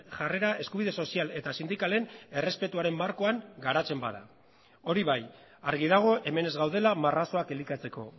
jarrera eskubide sozial eta sindikalen errespetuaren markoan garatzen bada hori bai argi dago hemen ez gaudela marrazoak elikatzeko